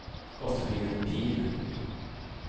Gottfrid Pihl